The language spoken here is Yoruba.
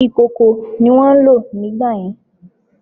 Ìkòkò ni wón ń lò nígbàyẹn